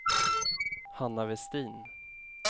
Hanna Westin